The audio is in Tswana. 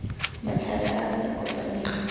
matlhare a a sa kopaneng